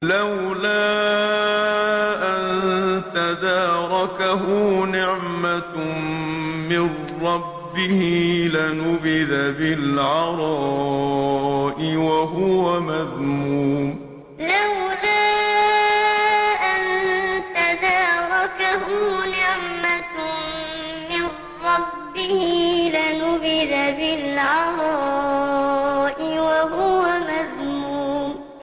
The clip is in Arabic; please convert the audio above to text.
لَّوْلَا أَن تَدَارَكَهُ نِعْمَةٌ مِّن رَّبِّهِ لَنُبِذَ بِالْعَرَاءِ وَهُوَ مَذْمُومٌ لَّوْلَا أَن تَدَارَكَهُ نِعْمَةٌ مِّن رَّبِّهِ لَنُبِذَ بِالْعَرَاءِ وَهُوَ مَذْمُومٌ